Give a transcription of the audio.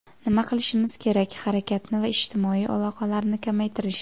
Nima qilishimiz kerak - harakatni va ijtimoiy aloqalarni kamaytirish.